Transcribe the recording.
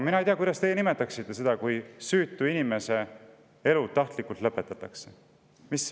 Mina ei tea, kuidas teie nimetaksite seda, kui süütu inimese elu tahtlikult lõpetatakse.